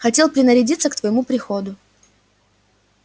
хотел принарядиться к твоему приходу